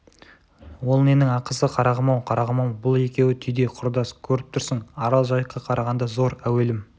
ол ненің ақысы қарағым-ау қарағым-ау бұл екеуі түйдей құрдас көріп тұрсың арал жайыққа қарағанда зор әуелім